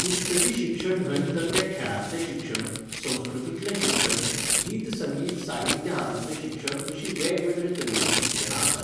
पुस्तकी शिक्षण न्हय तर तें खेळांतलें शिक्षण, संस्कृतीतलें शिक्षण, गीत संगीत साहित्य हातूतंले शिक्षण अशीं वेगवेगळे तरेचीं शिक्षणां आसात